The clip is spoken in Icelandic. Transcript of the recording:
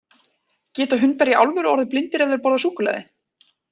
Geta hundar í alvöru orðið blindir ef þeir borða súkkulaði?